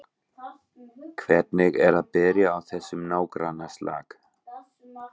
Hvernig er að byrja á þessum nágrannaslag?